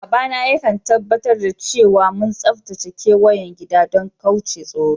Baba na ya kan tabatar cewa mun tsatace keweyen gida dan kauce tsoro.